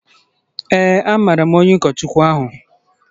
Ee, amaara m nwoke ụkọchukwu ahụ